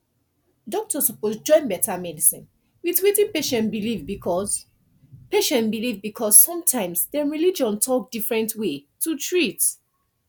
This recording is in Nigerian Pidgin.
doctor suppose join better medicine with wetin patient believe because patient believe because sometimes dem religion talk different way to treat